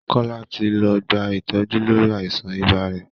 Kọ́lá ti lọ gba ìtọ́jú lórí àìsàn ibà rẹ̀